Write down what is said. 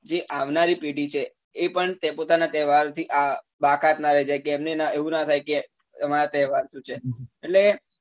જે આવનારી પેઢી છે એ પણ તે પોતાના તહેવારો થી અ બાકાત નાં રહી જાય કે એમને એવું નાં થાય કે અમારા તહેવાર શું છે